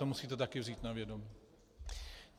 To musíte taky vzít na vědomí.